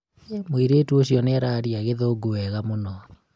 mũirĩtu ũcio nĩararĩa gĩthũngũ wega mũno